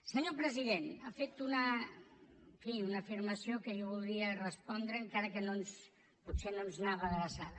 senyor president ha fet en fi una afirmació que jo voldria respondre encara que potser no ens anava adreçada